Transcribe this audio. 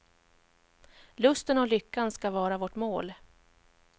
Lusten och lyckan skall vara vårt mål.